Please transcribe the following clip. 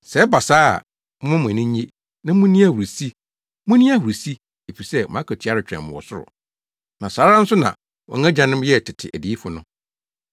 “Sɛ ɛba saa a, momma mo ani nnye na munni ahurusi! Munni ahurusi, efisɛ mo akatua retwɛn mo wɔ ɔsoro. Na saa ara nso na wɔn agyanom yɛɛ tete adiyifo no.